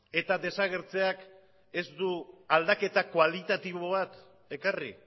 eta desagertzeak ez du aldaketa kualitatibo bat ekarri